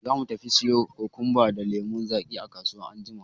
Za mu tafi siyo kokumba da lemun zaki a kasuwa anjima.